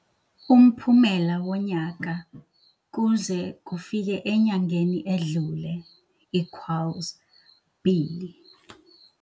Umphumela wonyaka kuze kufike enyangeni edlule equals B.